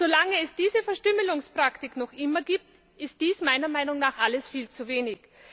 Solange es diese Verstümmelungspraktik noch immer gibt, ist dies meiner Meinung nach alles viel zu wenig.